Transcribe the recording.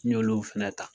N y'olu fɛnɛ ta